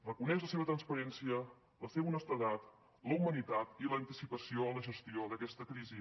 reconeix la seva transparència la seva honestedat la humanitat i l’anticipació en la gestió d’aquesta crisi